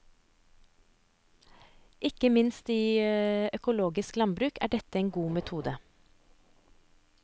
Ikke minst i økologisk landbruk er dette en god metode.